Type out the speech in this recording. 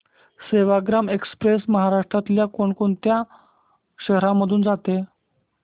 Sevagram express महाराष्ट्रातल्या कोण कोणत्या शहरांमधून जाते